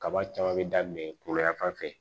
Kaba caman bɛ daminɛ kunkoloya fan fɛ